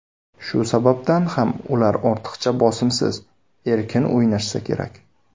Shu sababdan ham ular ortiqcha bosimsiz, erkin o‘ynashsa kerak.